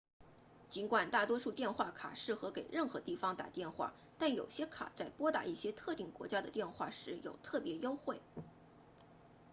尽管大多数电话卡适合给任何地方打电话但有些卡在拨打一些特定国家的电话时有特别优惠